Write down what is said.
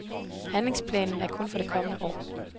Handlingsplanen er kun for det kommende år.